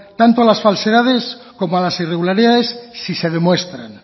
tanto a las falsedades como a las irregularidades si se demuestran